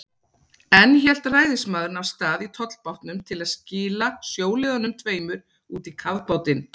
Enn hélt ræðismaðurinn af stað í tollbátnum til að skila sjóliðunum tveimur út í kafbátinn.